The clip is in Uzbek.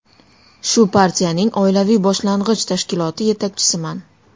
Shu partiyaning oilaviy boshlang‘ich tashkiloti yetakchisiman.